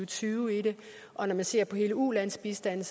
tyve i det og når man ser på hele ulandsbistanden